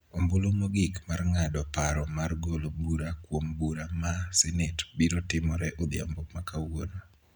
Ombulu mogik mar ng�ado paro mar golo bura kuom bura ma Senet biro timore odhiambo ma kawuono.